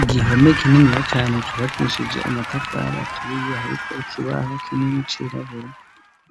Igihome kinini ya cane cubakishije amatafari aturiye hariko ikibaho k'inini c'irabura